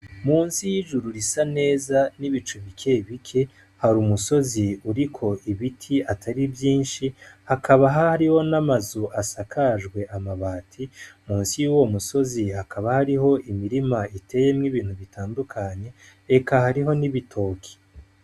Munsi y'ijuru risa neza n'ibicu bike bike hari umusozi uriko ibiti atari vyinshi hakaba hariho n'amazu asakajwe amabati munsi y'uwo musozi hakaba hariho imirima iteyemwo ibintu bitandukanye eka hariho n'ibitoke.